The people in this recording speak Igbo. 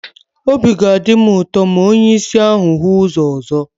Obi ga-adị m ụtọ ma onye ìsì ahụ hụ ụzọ ọzọ.